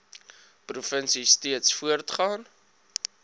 provinsie steeds voortgaan